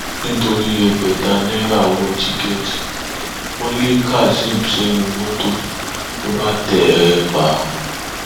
nítorí ẹgbẹta náírà owó tíkẹẹtì wọn lé kazeem sẹnu mọtò ló bá tẹ é pa